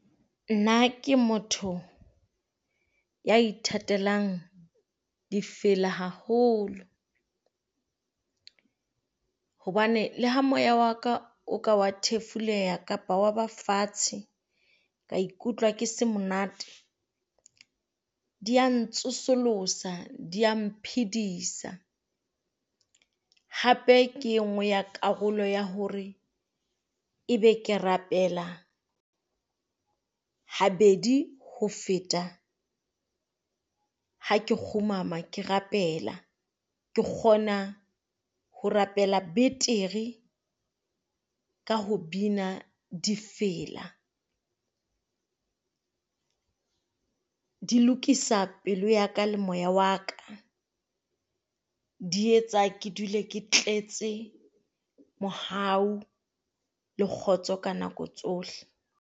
Nna ke motho ya ithatelang difela haholo, hobane le ha moya wa ka o ka wa thefuleha kapa wa ba fatshe, ka ikutlwa ke se monate dia ntsosolosa dia mphedisa. Hape ke enngwe ya karolo ya hore ebe ke rapela habedi ho feta ha ke kgumama ke rapela, ke kgona ho rapela betere Ka ho bina difela. Di lokisa pelo ya ka le moya wa ka, di etsa ke dule ke tletse mohau le kgotso ka nako tsohle.